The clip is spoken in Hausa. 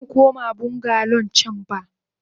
Bazamu koma bungalow can ba.